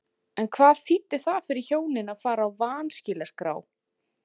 En hvað þýddi það fyrir hjónin að fara á vanskilaskrá?